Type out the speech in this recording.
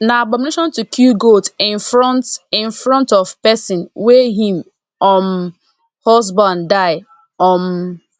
na abomination to kill goat in front in front of person wey him um husband die um